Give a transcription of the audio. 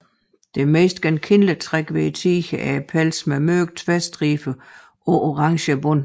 Det mest genkendelige træk ved tigeren er pelsen med mørke tværstriber på orange bund